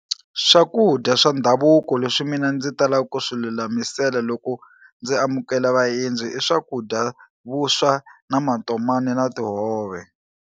Swakudya swa ndhavuko leswi mina ndzi talaka ku swi lulamisela loko ndzi amukela vaendzi i swakudya vuswa na matomani na tihove.